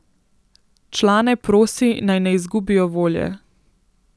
Člane prosi, naj ne izgubijo volje.